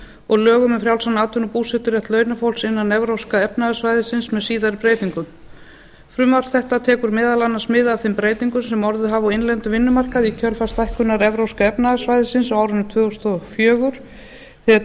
og lögum um frjálsan atvinnubúseturétt launafólks innan evrópska efnahagssvæðisins með síðari breytingum frumvarp þetta tekur meðal annars mið af þeim breytingum sem orðið hafa á innlendum vinnumarkaði í kjölfar stækkunar evrópska efnahagssvæðisins á árinu tvö þúsund og fjögur þegar